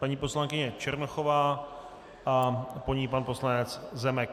Paní poslankyně Černochová a po ní pan poslanec Zemek.